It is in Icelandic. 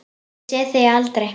Ég sé þig aldrei.